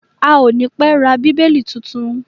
A à ní pẹ́ ra Bíbélì titun.